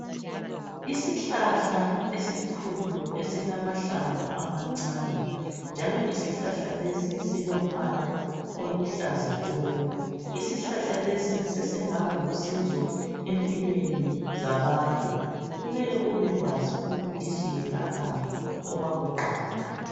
isihlahla esikhulu esilamahlamvu amancane njalo isihlahla lesi silombala oluhlaza tshoko isihlahla lesi sesingaba lusizo empilweni zabantu kumeleubekwazi ukuthi siyelaphani okwakuqala